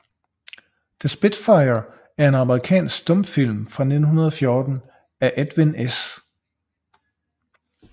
The Spitfire er en amerikansk stumfilm fra 1914 af Edwin S